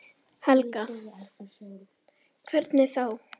Helga: Hvernig þá?